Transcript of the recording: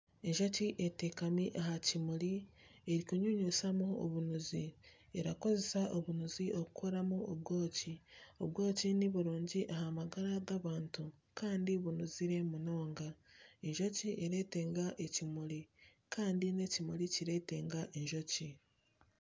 Enjoki eteekami aha kimuri erikunyunyutamu obunuzi erakozesa obunuzi kukoramu obwoki. Obwoki niburungi aha magara g'abantu kandi bunuzire munonga. Enjoki eretenga ekimuri Kandi n'ekimuri kiretenga enjoki.